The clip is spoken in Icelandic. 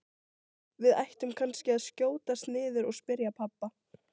Við ættum kannski að skjótast niður og spyrja pabba.